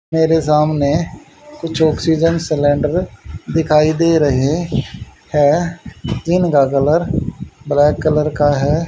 मेरे सामने कुछ ऑक्सीजन सिलेंडर दिखाई दे रहे हैं जिनका कलर ब्लैक कलर का है।